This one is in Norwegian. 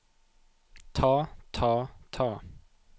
ta ta ta